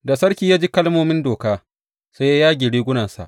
Da sarki ya ji kalmomin Doka, sai ya yage rigunansa.